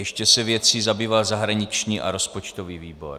Ještě se věcí zabýval zahraniční a rozpočtový výbor.